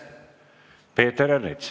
Peeter Ernits.